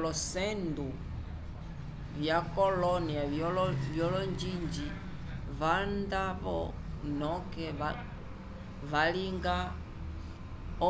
olocendo vya colonia vyolonjinji vanda vo noke valinga